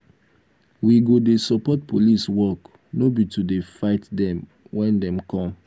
we go dey support police work no be to dey fight dem wen dem come.